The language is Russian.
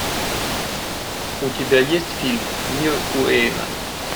у тебя есть фильм мир уэйна